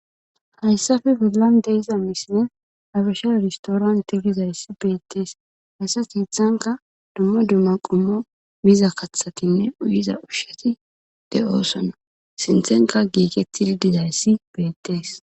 hayssafe widilan deyiza misine abisha iristooranti gizayssi beettees hassati hethanka dummo dumma qumo miza kathatinne uyiza ushsheti de7oosonna sinthenka giiketidi dizayssi beettees